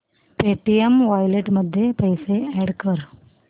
Paytm wallet मध्ये पैसे add कर